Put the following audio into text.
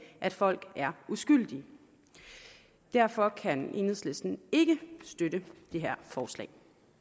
at folk er uskyldige derfor kan enhedslisten ikke støtte det her forslag